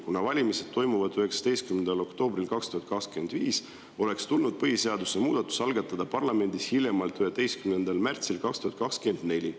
Kuna valimised toimuvad 19. oktoober 2025, oleks tulnud põhiseaduse muudatus algatada parlamendis hiljemalt 11. märts 2024.